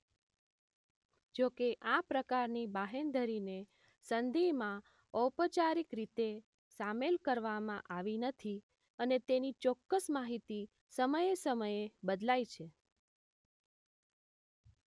જોકે આ પ્રકારની બાહેંધરીને સંધિમાં ઔપાચારિક રીતે સામેલ કરવામાં આવી નથી અને તેની ચોક્કસ માહિતી સમયે સમયે બદલાય છે